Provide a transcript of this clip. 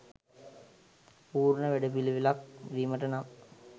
පූර්ණ වැඩපිළිවෙලක් වීමට නම්